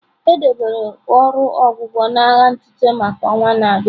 E debere ọrụ ọgwụgwọ na agha ntụte maka ọnwa na-abịa.